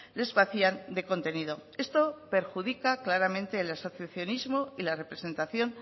les vacían de contenido esto perjudica claramente el asociacionismo y la representación